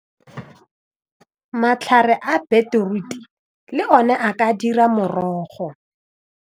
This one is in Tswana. Matlhare a beetroot le one a ka dira morogo.